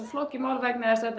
flókið mál vegna þess að